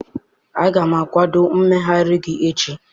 Aga m akwadoo mmegharị gị echi.